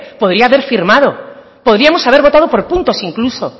podría haber firmado podríamos haber votado por puntos incluso